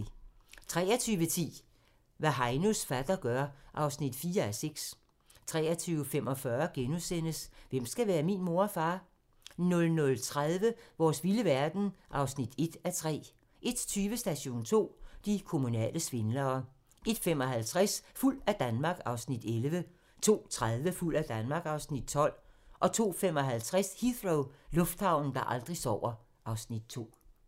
23:10: Hvad Heinos fatter gør (4:6) 23:45: Hvem skal være min mor og far? * 00:30: Vores vilde verden (1:3) 01:20: Station 2: De kommunale svindlere 01:55: Fuld af Danmark (Afs. 11) 02:30: Fuld af Danmark (Afs. 12) 02:55: Heathrow - lufthavnen, der aldrig sover (Afs. 2)